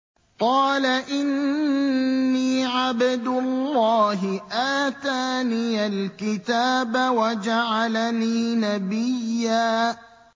قَالَ إِنِّي عَبْدُ اللَّهِ آتَانِيَ الْكِتَابَ وَجَعَلَنِي نَبِيًّا